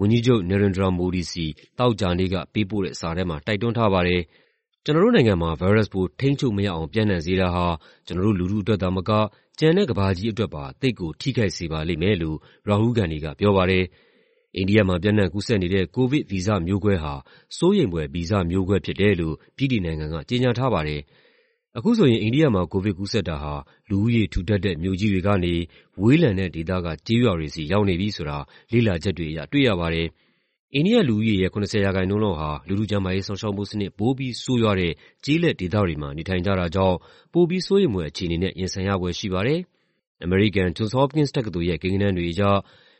ဝန်ကြီးချုပ် Narendra Modi ဆီ သောကြာနေ့က ပေးပို့တဲ့ စာထဲမှာ တိုက်တွန်းထားပါတယ်။ "ကျနော်တို့နိုင်ငံမှာ ဗိုင်းရပ်စ်ပိုး ထိန်းချုပ်မရအောင် ပျံ့နှံ့စေတာဟာ ကျနော်တို့လူထုအတွက်သာမက ကျန်တဲ့ ကမ္ဘာကြီးအတွက်ပါ သိပ်ကို ထိခိုက်စေပါလိမ့်မယ်" လို့ Rahul Gandhi က ပြောပါတယ်။ အိန္ဒိယမှာ ပျံ့နှံ့ကူးစက်နေတဲ့ ကိုဗစ် ဗီဇမျိုးကွဲဟာ "စိုးရိမ်ဖွယ် ဗီဇမျိုးကွဲ" ဖြစ်တယ်လို့ ဗြိတိန်နိုင်ငံက ကြေညာထားပါတယ်။ အခုဆိုရင် အိန္ဒိယမှာ ကိုဗစ်ကူးစက်တာဟာ လူဦးရေထူထပ်တဲ့ မြို့ကြီးတွေကနေ ဝေးလံတဲ့ဒေသက ကျေးရွာတွေဆီ ရောက်နေပြီဆိုတာ လေ့လာချက်တွေအရ တွေ့ရပါတယ်။ အိန္ဒိယလူဦးရေရဲ့ ၇၀ ရာခိုင်နှုန်းလောက်ဟာ လူထုကျန်းမာရေးစောင့်ရှောက်မှုစနစ် ပိုပြီးဆိုးရွားတဲ့ ကျေးလက်ဒေသတွေမှာ နေထိုင်ကြတာကြောင့် ပိုပြီး စိုးရိမ်ဖွယ်အခြေအနေနဲ့ ရင်ဆိုင်ရဖွယ် ရှိပါတယ်။ အမေရိကန် Johns Hopkins တက္ကသိုလ်ရဲ့ ကိန်းဂဏန်းတွေအရ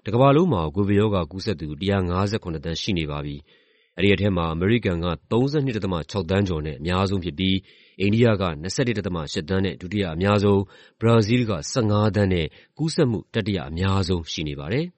တကမ္ဘာလုံးမှာ ကိုဗစ်ရောဂါကူးစက်သူ ၁၅၇ သန်းရှိနေပြီ ဖြစ်ပါတယ်။ အဲဒီထဲမှာ အမေရိကန်က ၃၂.၆ သန်းကျော်နဲ့ အများဆုံးဖြစ်ပြီး အိန္ဒိယက ၂၁.၈ သန်းနဲ့ ဒုတိယအများဆုံး၊ ဘရာဇီးလ်က ၁၅ သန်းနဲ့ ကူးစက်မှု တတိယအများဆုံး ရှိနေပါတယ်